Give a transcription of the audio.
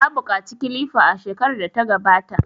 Na buƙaci kilifa a shekarar da ta gabata.